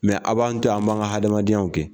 Mɛ a b'an to yen an b'an ka hadamadenyaw kɛ.